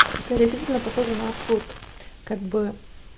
хотя действительно похожа на абсурд как бы